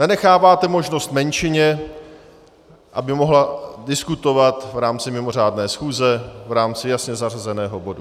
Nenecháváte možnost menšině, aby mohla diskutovat v rámci mimořádné schůze, v rámci jasně zařazeného bodu.